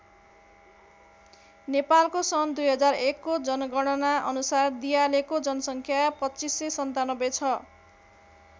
नेपालको सन् २००१ को जनगणना अनुसार दियालेको जनसङ्ख्या २५९७ छ।